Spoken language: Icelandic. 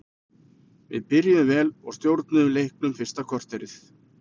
Við byrjuðum vel og stjórnuðum leiknum fyrsta korterið.